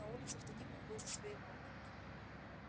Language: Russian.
на улице в тени он был за своего